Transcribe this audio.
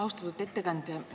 Austatud ettekandja!